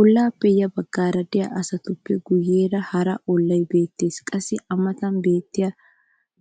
ollaappe ya bagaara diya asatuppe guyeera hara olay beetees. qassi a matan beetiya